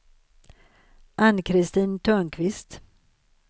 Ann-Kristin Törnqvist